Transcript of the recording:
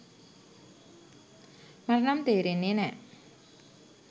මට නම් තේරෙන්නේ නෑ.